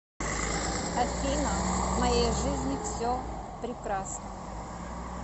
афина в моей жизни все прекрасно